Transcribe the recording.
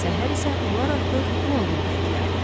Səhər isə onlar artıq Londonda idilər.